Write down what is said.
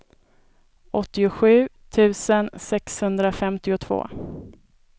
åttiosju tusen sexhundrafemtiotvå